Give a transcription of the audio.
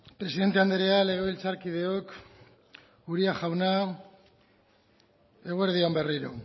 presidente andrea legebiltzarkideok uria jauna eguerdi on berriro